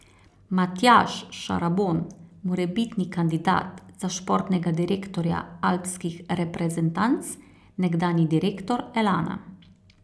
Matjaž Šarabon, morebitni kandidat za športnega direktorja alpskih reprezentanc, nekdanji direktor Elana.